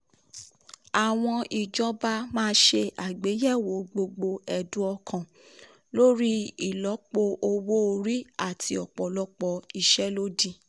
àwọn ìjọba máa ṣe àgbéyẹ̀wò gbogbo ẹ̀dùn ọkàn lórí ìlọ́po owó lórí ìlọ́po owó orí àti ọ̀pọ̀lọpọ̀ ìṣèlódì.